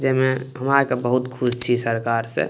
जे में हम आय के बहुत खुश छी सरकार से।